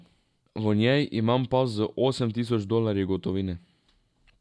V njej imam pas z osem tisoč dolarji gotovine.